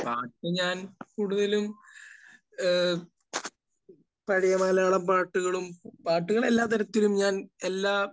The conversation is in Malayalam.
പാട്ട് ഞാൻ കൂടുതലും ഏഹ് പഴയ മലയാളം പാട്ടുകളും...പാട്ടുകൾ എല്ലാ തരത്തിലും...ഞാൻ എല്ലാ